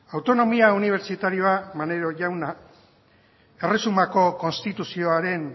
autonomia unibertsitarioa maneiro jauna erresumako konstituzioaren